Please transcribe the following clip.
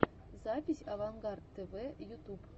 запись авангард тв ютуб